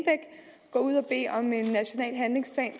national handlingsplan